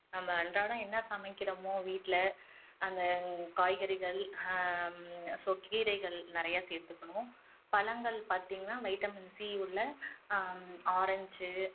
நம்ம அன்றாடம் என்ன சமைக்கிறோமோ வீட்டுல அந்த காய்கறிகள் ஹம் so கீரைகள் நிறைய சேர்த்துக்கணும், பழங்கள் பாத்தீங்கன்னா vitamin C உள்ள ஆஹ் orange